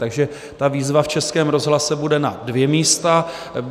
Takže ta výzva v Českém rozhlase bude na dvě místa.